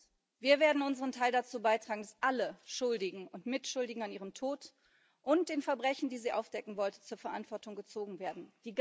Erstens wir werden unseren Teil dazu beitragen, dass alle Schuldigen und Mitschuldigen an ihrem Tod und den Verbrechen, die sie aufdecken wollte, zur Verantwortung gezogen werden.